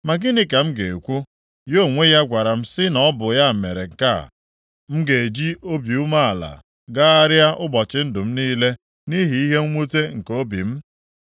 Ma gịnị ka m ga-ekwu? Ya onwe ya gwara m sị na ọ bụ ya mere nke a. M ga-eji obi umeala gagharịa ụbọchị ndụ m niile nʼihi ihe mwute nke obi m.